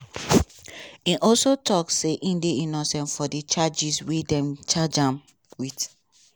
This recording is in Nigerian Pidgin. e also tok say e dey innocent for di charges wey dem charge am wit.